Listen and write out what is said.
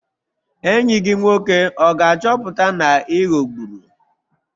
Enyi gị nwoke ọ ga-achọpụta na ị ghọgburu?